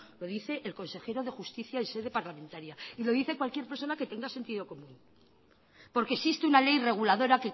lo dice el consejero de justicia en sede parlamentaria y lo dice cualquier persona que tenga sentido común porque existe una ley reguladora